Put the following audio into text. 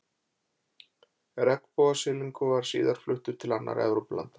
Regnbogasilungur var síðan fluttur til annarra Evrópulanda.